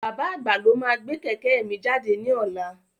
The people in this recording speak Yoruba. Bàbá àgbà lo máa gbé kẹ̀kẹ́ mi jáde ní ọlá.